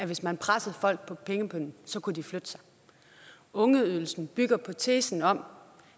hvis man pressede folk på pengepungen kunne de flytte sig ungeydelsen bygger på tesen om